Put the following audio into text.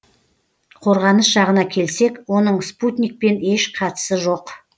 қорғаныс жағына келсек оның спутникпен еш қатысы жоқ